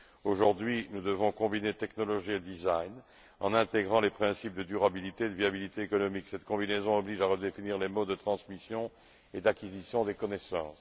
Aujourd'hui, nous devons combiner technologie et design, en intégrant les principes de durabilité et de viabilité économique. Cette combinaison oblige à redéfinir les modes de transmission et d'acquisition des connaissances.